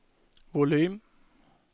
volym